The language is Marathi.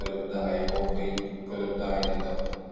उपलब्ध आहे व पईप उपलब्ध आहेत इथं.